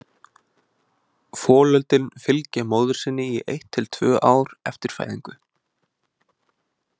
Folöldin fylgja móður sinni í eitt til tvö ár eftir fæðingu.